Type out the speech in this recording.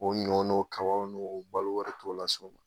O ɲɔgɔn n'o kabaw n'o balo wɛrɛ t'o la sa wo